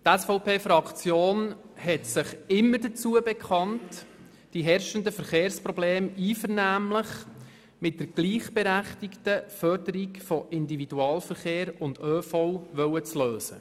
Die SVP-Fraktion hat sich immer dazu bekannt, die herrschenden Verkehrsprobleme einvernehmlich mit der gleichberechtigten Förderung von MIV und ÖV lösen zu wollen.